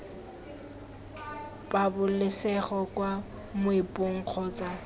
pabalesego kwa moepong kgotsa iii